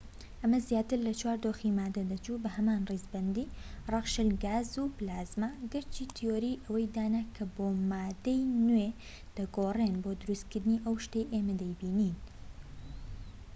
ئەمە زیاتر لە چوار دۆخی ماددە دەچوو بەهەمان ڕیزبەندی: ڕەق، شل، گاز، و پلازما، گەرچی تیۆری ئەوەی دانا کە بۆ ماددەی نوێ دەگۆڕێن بۆ دروستکردنی ئەو شتەی ئێمە دەیبینین